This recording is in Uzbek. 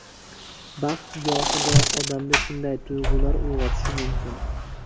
Baxt gohida odamda shunday tuyg‘ular uyg‘otishi mumkin.